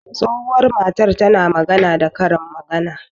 Tsohuwan matan ta na magana da Karin magana.